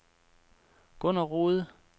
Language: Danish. Gunner Rohde